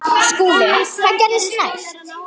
SKÚLI: Hvað gerðist næst?